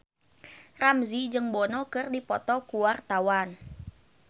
Ramzy jeung Bono keur dipoto ku wartawan